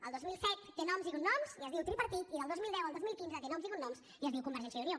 el dos mil set té noms i cognoms i es diu tripartit i del dos mil deu al dos mil quinze té noms i cognoms i es diu convergència i unió